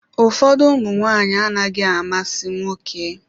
Ụfọdụ ụmụ nwanyị anaghị amasị nwoke.